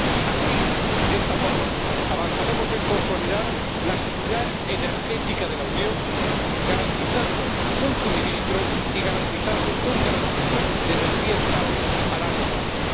Así, de esta forma, avanzaremos en la consolidación de la seguridad energética de la Unión, garantizando un suministro y garantizando un tránsito de energía estables a largo plazo.